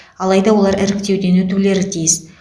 алайда олар іріктеуден өтулері тиіс